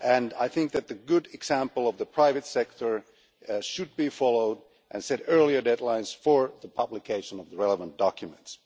I think that the good example of the private sector should be followed, and earlier deadlines set for the publication of the relevant documents.